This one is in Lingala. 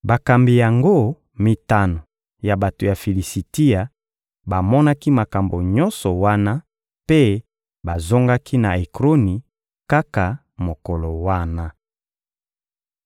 Bakambi yango mitano ya bato ya Filisitia bamonaki makambo nyonso wana mpe bazongaki na Ekroni kaka mokolo wana.